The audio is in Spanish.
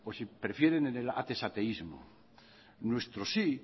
si prefieren en el atezateismo nuestro sí